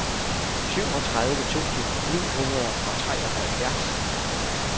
syvogtredive tusind ni hundrede og treoghalvfjerds